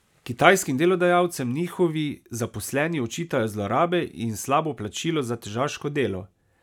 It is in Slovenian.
Kitajskim delodajalcem njihovi zaposleni očitajo zlorabe in slabo plačilo za težaško delo.